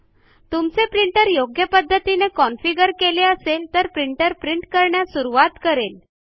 तुमचे प्रिंटर योग्य पध्दतीने कॉन्फिगर केला असेल तर प्रिंटर प्रिंट करण्यास सुरूवात करेल